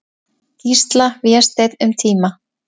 Gísla, Vésteinn, um tíma.